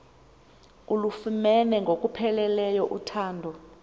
ulufumene ngokupheleleyo uthando